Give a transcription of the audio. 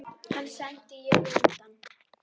Hann sendi ég utan.